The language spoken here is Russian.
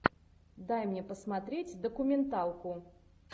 дай мне посмотреть документалку